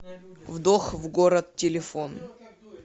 вдох в город телефон